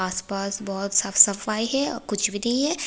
आस पास बहुत साफ सफाई है और कुछ भी नहीं है।